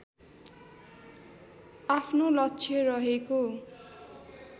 आफ्नो लक्ष्य रहेको